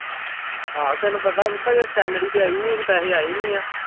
ਆਹੋ ਤੈਨੂੰ ਪਤਾ ਪੁੱਤ ਹਜੇ salary ਤੇ ਆਈ ਨੀ ਪੈਸੇ ਆਏ ਨੀ ਆ।